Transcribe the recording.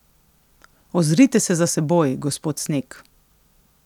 Ozrite se za seboj, gospod Sneg.